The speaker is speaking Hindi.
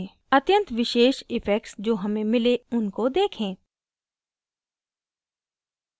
अत्यंत विशेष इफेक्ट्स जो हमें मिले उनको देखें